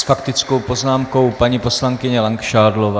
S faktickou poznámkou paní poslankyně Langšádlová.